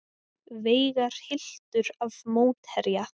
Veigar hylltur af mótherja